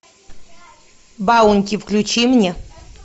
баунти включи мне